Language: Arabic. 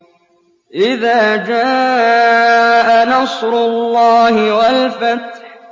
إِذَا جَاءَ نَصْرُ اللَّهِ وَالْفَتْحُ